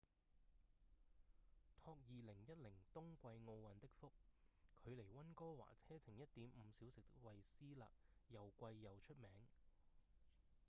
託2010冬季奧運的福距離溫哥華車程 1.5 小時的惠斯勒又貴又出名